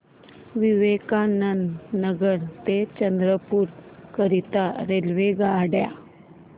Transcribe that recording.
विवेकानंद नगर ते चंद्रपूर करीता रेल्वेगाड्या